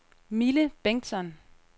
Mille Bengtsson